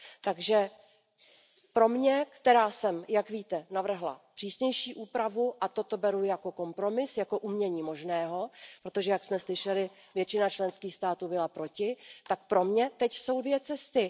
Takže pro mě, která jsem, jak víte, navrhla přísnější úpravu, a toto beru jako kompromis, jako umění možného, protože jak jsme slyšeli, většina členských států byla proti, jsou dvě cesty.